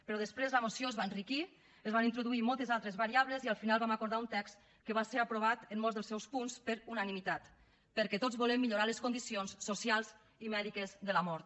però després la moció es va enriquir es van introduir moltes altres variables i al final vam acordar un text que va ser aprovat en molts dels seus punts per unanimitat perquè tots volem millorar les condicions socials i mèdiques de la mort